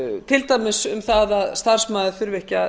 til dæmis um það að starfsmaður þurfi ekki að